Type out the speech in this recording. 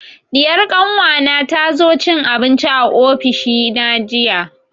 Diyar kanwa na ta zo cin abinci a ofishi na jiya